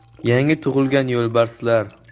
Yangi tug‘ilgan yo‘lbarslar.